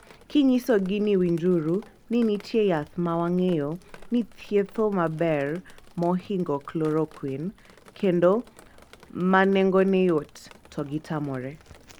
Kinyisogi ni winjuru ni nitie yath mowangeyo ni thietho maber mohingo chloroquine kendo manengone yot, togitamoree.